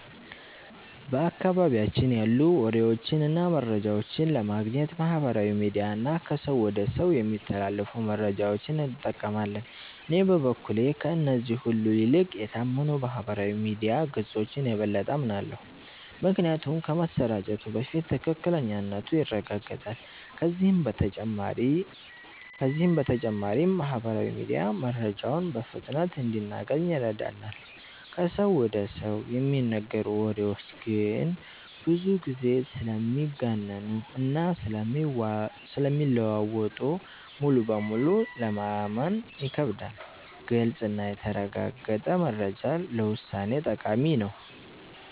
በአካባቢያችን ያሉ ወሬዎችን እና መረጃዎችን ለማግኘት ማህበራዊ ሚዲያ እና ከሰው ወደ ሰው የሚተላለፉ መረጃዎችን እንጠቀማለን። እኔ በበኩሌ ከእነዚህ ሁሉ ይልቅ የታመኑ የማህበራዊ ሚዲያ ገጾችን የበለጠ አምናለሁ። ምክንያቱም ከመሰራጨቱ በፊት ትክክለኛነቱ ይረጋገጣል፤ ከዚህ በተጨማሪም ማህበራዊ ሚዲያ መረጃውን በፍጥነት እንድናገኝ ይረዳናል። ከሰው ወደ ሰው የሚነገሩ ወሬዎች ግን ብዙ ጊዜ ስለሚጋነኑ እና ስለሚለዋወጡ ሙሉ በሙሉ ለማመን ይከብዳሉ። ግልጽ እና የተረጋገጠ መረጃ ለውሳኔ ጠቃሚ ነው።